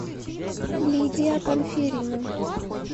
лидия панферина